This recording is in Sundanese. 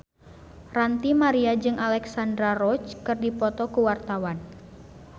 Ranty Maria jeung Alexandra Roach keur dipoto ku wartawan